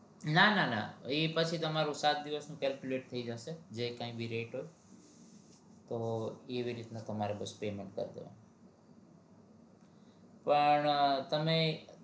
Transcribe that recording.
ના ના ના ઈ પછી તમારે એ સાત દિવસ નું calculate થઇ જશે જે કાઈ પણ rate તો એવી રીતે તમારું પણ તમે